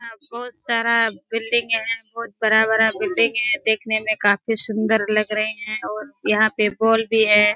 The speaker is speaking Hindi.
यहाँ बहुत सारा बिल्डिंग हैं बहुत बड़ा-बड़ा बिल्डिंग हैं देखने में बहुत सुन्दर भी लग रहे हैं और बॉल भी है।